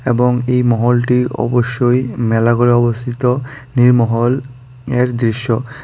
এবং এই মহলটি অবশ্যই মেলা গড়ে অবস্থিত নীরমহল এর দৃশ্য।